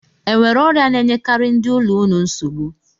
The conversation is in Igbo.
E nwere ọrịa na-enyekarị ndị ụlọ unu nsogbu?